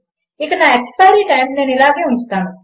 ఇక నా expiry time నేను ఇలాగే ఉంచుతాను